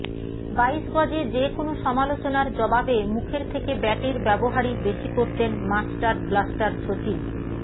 বাইশ গজে যে কোনও সমালোচনার জবাবে মুখের থেকে ব্যাটের ব্যবহারই বেশি করতেন মাস্টার ব্লাস্টার সচিন